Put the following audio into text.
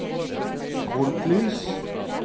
frontlys